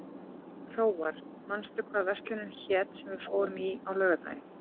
Hróar, manstu hvað verslunin hét sem við fórum í á laugardaginn?